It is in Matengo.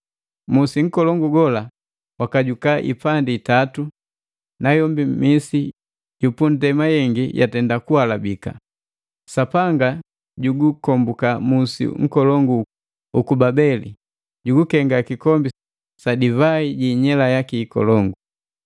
Musi nkolongo gola wakajuka ipandi itatu, nayombi misi ya nndema yengi jatenda kuhalabika. Sapanga jugukombuka musi nkolongu uku Babeli, jugukenga kikombi sa divai ji inyela yaki ikolongu.